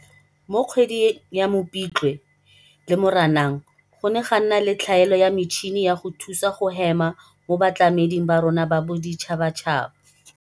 Mo kgweding ya Mopitlwe le Moranang, go ne ga nna le tlhaelo ya metšhini ya go thusa go hema mo batlameding ba rona ba boditšhabatšhaba.